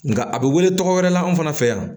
Nka a bɛ wele tɔgɔ wɛrɛ la anw fana fɛ yan